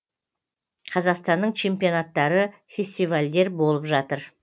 қазақстанның чемпионттары фестивальдер болып жатыр